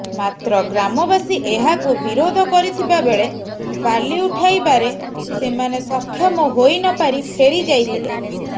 ମାତ୍ର ଗ୍ରାମବାସୀ ଏହାକୁ ବିରୋଧ କରିଥିବା ବେଳେ ବାଲି ଉଠାଇବାରେ ସେମାନେ ସକ୍ଷମ ହୋଇନପାରି ଫେରିଯାଇଥିଲେ